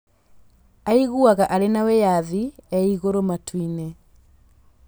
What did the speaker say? Aiguaga arĩ na wĩyathi e igũrũ matu-inĩ.